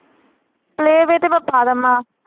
Playway ਤੇ ਮੈਂ ਪਾ ਦਵਾਂ।